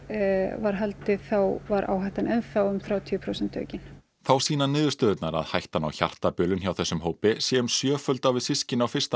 var haldið var áhættan enn þá um þrjátíu prósent aukin þá sýna niðurstöðurnar að hættan á hjartabilun hjá þessum hópi sé um sjöföld á við systkini á fyrsta